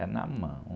É na mão.